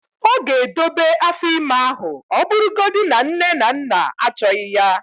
ọ ga-edobe afọ ime ahụ ọ bụrụgodị na nne na nna achọghị ya